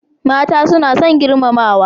Mata suna son girmamawa.